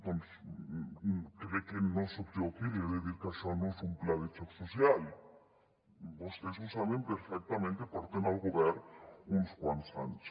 doncs crec que no soc jo qui li ha de dir que això no és un pla de xoc social vostès ho saben perfectament que porten al govern uns quants anys